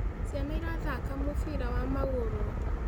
Ciana irathaka mũbira wa magũrũ